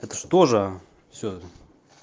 так что же всё